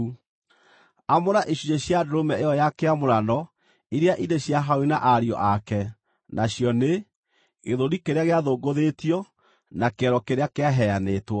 “Amũra icunjĩ cia ndũrũme ĩyo ya kĩamũrano iria irĩ cia Harũni na ariũ ake nacio nĩ: gĩthũri kĩrĩa gĩathũngũthĩtio na kĩero kĩrĩa kĩaheanĩtwo.